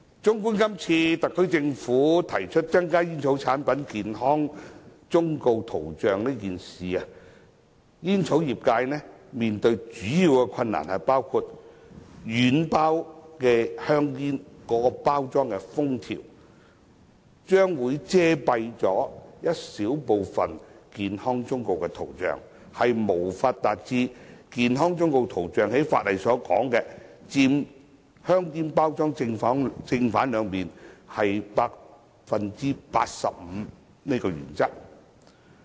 綜觀今次特區政府提出增加煙草產品健康忠告圖像一事，煙草業界面對的主要困難包括：軟包香煙的包裝封條將會遮蔽小部分健康忠告圖像，因而無法符合法例健康忠告圖像佔香煙包裝正、背兩面 85% 的規定。